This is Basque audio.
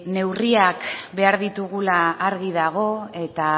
neurriak behar ditugula argi dago eta